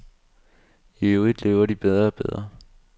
Iøvrigt lever de bedre og bedre.